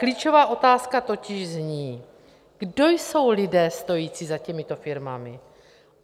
Klíčová otázka totiž zní: Kdo jsou lidé stojící za těmito firmami?